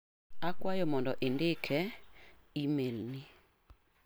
Akwayo mondo indik e imel ni.